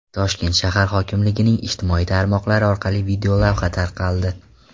Toshkent shahar hokimligining ijtimoiy tarmoqlari orqali videolavha tarqaldi.